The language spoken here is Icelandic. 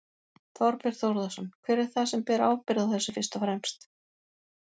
Þorbjörn Þórðarson: Hver er það sem ber ábyrgð á þessu fyrst og fremst?